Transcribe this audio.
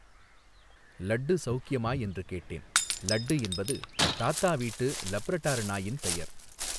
லட்டு சௌக்கியமா, என்று கேட்டேன், லட்டு என்பது, தாத்தா வீட்டு, லப்ரடார் நாயின் பெயர்.